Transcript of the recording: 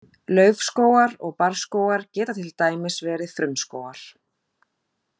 Laufskógar og barrskógar geta til dæmis verið frumskógar.